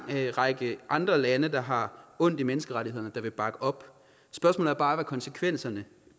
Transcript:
række andre lande der har ondt i menneskerettighederne der vil bakke op spørgsmålet er bare hvad konsekvenserne